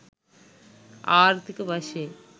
ආර්ථීක වශයෙන්